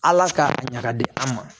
Ala k'a ɲaga di an ma